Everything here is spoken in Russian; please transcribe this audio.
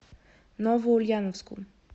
новоульяновску